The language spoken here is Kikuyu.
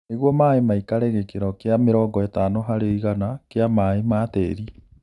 Nĩguo maĩĩ maikare gĩkĩro kĩa mĩrongo ĩtano harĩ igana kĩa maĩĩ ma tĩri